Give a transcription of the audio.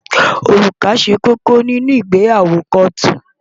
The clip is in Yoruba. Òrùka ṣe kókó nínú ìgbéyàwó kóòtù.